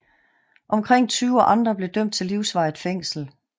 Omkring 20 andre blev dømt til livsvarigt fængsel